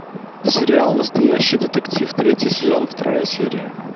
сериал настоящий детектив третий сезон вторая серия